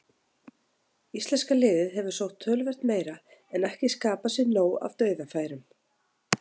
Íslenska liðið hefur sótt töluvert meira en ekki skapað sér nóg af dauðafærum.